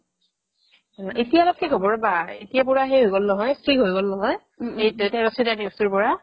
অ, এতিয়া অলপ থিক হ'ব ৰ'বা আ এতিয়াৰ পৰা সেই হৈ গ'ল নহয় থিক হৈ গ'ল নহয় উম দেউতাৰ accident এই case টোৰ পৰা